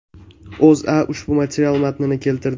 O‘zA ushbu material matnini keltirdi .